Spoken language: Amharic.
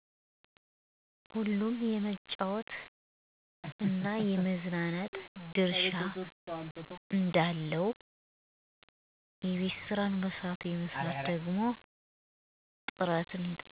ሁሉም የመጫወት ድርሻ አለው